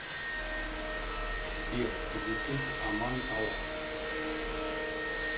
сбер ютуб аман алах